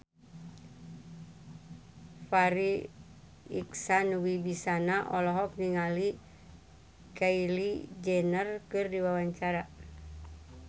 Farri Icksan Wibisana olohok ningali Kylie Jenner keur diwawancara